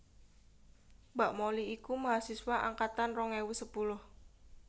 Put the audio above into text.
Mbak Molly iku mahasiswa angkatan rong ewu sepuluh